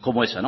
como esa